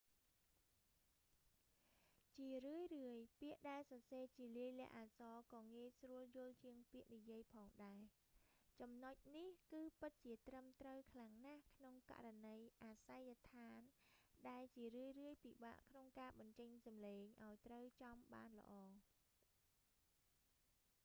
ជារឿយៗ ពាក្យដែលសរសេរជាលាយលក្ខណ៍អក្សរក៏ងាយស្រួលយល់ជាងពាក្យនិយាយផងដែរ ចំណុចនេះគឺពិតជាត្រឹមត្រូវខ្លាំងណាស់ក្នុងករណីអាសយដ្ឋាន ដែលជារឿយៗ ពិបាកក្នុងការបញ្ចេញសំឡេងឱ្យត្រូវចំបានល្អ